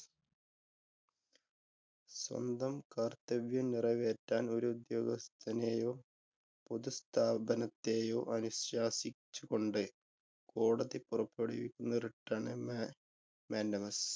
സ്വന്തം കര്‍ത്തവ്യം നിറവേറ്റാന്‍ ഒരു ഉദ്യോഗസ്ഥനെയോ, പൊതു സ്ഥാപനത്തെയൊ അനുശാസിച്ചുകൊണ്ട് കോടതി പുറപ്പെടുവിക്കുന്ന writ ആണ് മാന്‍ഡാ Mandamus.